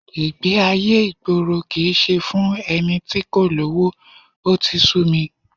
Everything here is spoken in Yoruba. Ìgbé-ayé ìgboro kì í ṣe fún ẹni tí kò lówó, ó ti sú mi